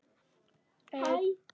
Þjóðin forðum rímur las.